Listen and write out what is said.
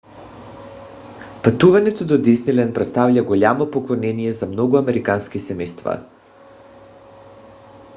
пътуването до дисниленд представлява голямо поклонение за много американски семейства